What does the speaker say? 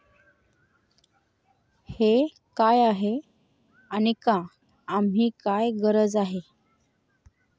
हे काय आहे आणि का आम्ही काय गरज आहे?